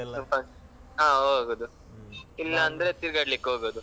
ಹಾ ಹೋಗುದು ಇಲ್ಲಾಂದ್ರೆ ತಿರ್ಗಡ್ಲಿಕೆ ಹೋಗುದು.